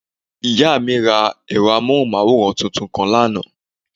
Ìyá mí ra ẹ̀rọ amóhùnmáwòrán tuntun kan lánàá